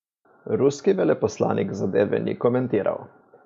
Ruski veleposlanik zadeve ni komentiral.